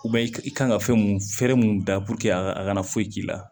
i kan ka fɛn mun fɛrɛ mun da puruke a ka a kana foyi k'i la